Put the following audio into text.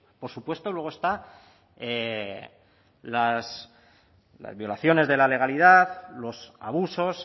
por supuesto luego están las violaciones de la legalidad los abusos